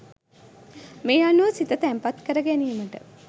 මේ අනුව සිත තැන්පත් කරගැනීමට